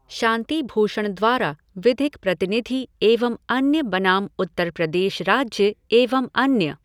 शांति भूषण द्वारा विधिक प्रतिनिधि एवं अन्य बनाम उत्तर प्रदेश राज्य एवं अन्य